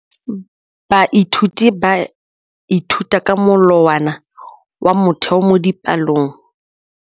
Baithuti ba ithuta ka molawana wa motheo mo dipalong.